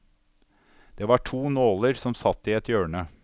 Det var to nåler som satt i et hjørne.